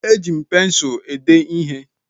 E ji m pensụ èdé ihé